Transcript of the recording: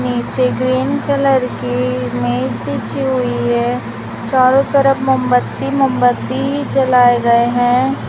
नीचे green colour की मेज बिछी हुई है चारो तरफ मोमबत्ती मोमबत्ती ही जलाए गए हैं।